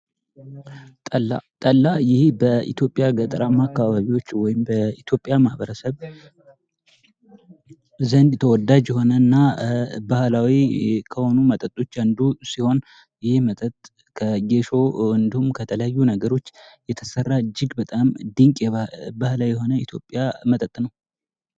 ጠላ በኢትዮጵያ ገጠራማ አካባቢዎች ወይም በኢትዮጵያ ማኅበረሰብ ዘንድ ተወዳጅ የሆነ እና ባህላዊ ከሆኑ መጠጦች አንዱ ሲሆን፤ ይህም መጠጥ ከጌሾ እንዲሁም፤ ከተለያዩ ነገሮች የተሰራ እጅግ በጣም ድንቅ ባህላዊ የሆነው የኢትዮጵያ መጠጥ ነው።